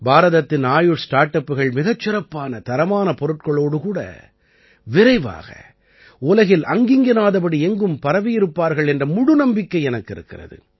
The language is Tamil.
பாரதத்தின் ஆயுஷ் ஸ்டார்ட் அப்புகள் மிகச் சிறப்பான தரமுள்ள பொருட்களோடு கூட விரைவாக உலகில் அங்கிங்கெனாதபடி எங்கும் பரவியிருப்பார்கள் என்ற முழு நம்பிக்கை எனக்கு இருக்கிறது